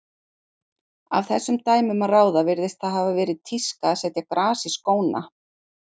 Af þessum dæmum að ráða virðist það hafa verið tíska að setja gras í skóna.